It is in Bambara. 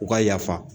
U ka yafa